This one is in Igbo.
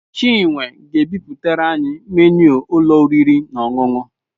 Chinwe ga-ebipụtara anyị menu ụlọ oriri na ọṅụṅụ.